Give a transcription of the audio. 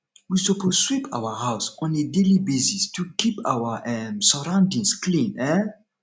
we suppose sweep our house on a daily basis to keep our um sorroundings clean um